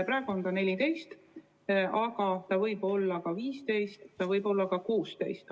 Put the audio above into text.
Praegu on see 14, aga see võib olla ka 15 ja see võib olla ka 16.